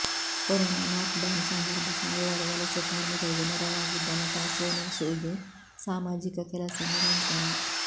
corona lockdown ಸಂದರ್ಭ ಸಾವಿರಾರು ವಲಸೆ ಕಾರ್ಮಿಕರಿಗೆ ನೆರವಾಗಿದ್ದ ನಟ ಸೋನು ಸೂದ್ ಸಾಮಾಜಿಕ ಕೆಲಸ ನಿರಂತರ